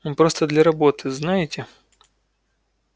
ну просто для работы знаете